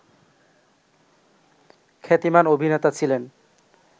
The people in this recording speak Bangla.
খ্যাতিমান অভিনেতা ছিলেন